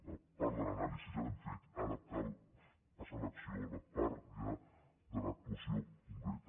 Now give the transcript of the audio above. la part de l’anàlisi ja l’hem feta ara cal passar a l’acció a la part ja de l’actuació concreta